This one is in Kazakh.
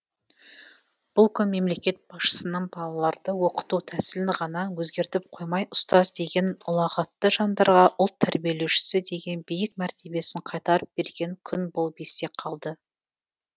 бұл күн мемлекет басшысының балаларды оқыту тәсілін ғана өзгертіп қоймай ұстаз деген ұлағатты жандардарға ұлт тәрбиелеушісі деген биік мәртебесін қайтарып берген күн болып есте қалды